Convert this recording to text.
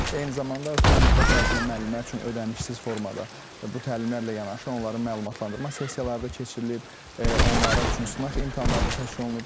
Eyni zamanda, ötən müddət ərzində müəllimlər üçün ödənişsiz formada bu təlimlərlə yanaşı, onların məlumatlandırma sessiyaları da keçirilib, onlar üçün sınaq imtahanlar da təşkil olunur.